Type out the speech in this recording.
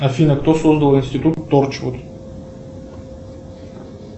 афина кто создал институт торчвуд